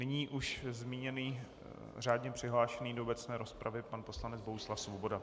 Nyní už zmíněný řádně přihlášený do obecné rozpravy pan poslanec Bohuslav Svoboda.